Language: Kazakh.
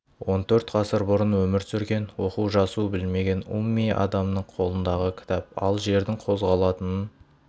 он төрт ғасыр бұрын өмір сүрген оқу-жазу білмеген умми адамның қолындағы кітап ал жердің қозғалатынын